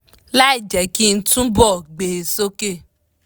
láì jẹ́ kí n túbọ̀ gbé e soke